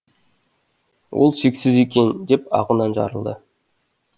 ол шексіз екен деп ағынан жарылды